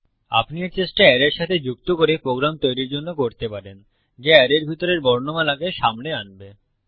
আপনি এর চেষ্টা অ্যারের সাথে যুক্ত করে প্রোগ্রাম তৈরীর জন্য করতে পারেন যা অ্যারের ভিতরের বর্ণমালাকে সামনে আনবে